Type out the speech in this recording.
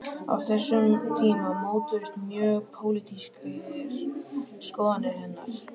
Á þessum tíma mótuðust mjög pólitískar skoðanir hennar.